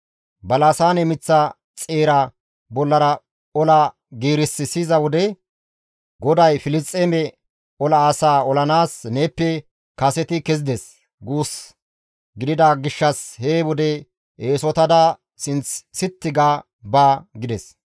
Balasaane miththa xeera bollara ola giiris siyiza wode GODAY Filisxeeme ola asaa olanaas neeppe kaseti kezides guus gidida gishshas he wode eesotada sinth sitti ga ba» gides.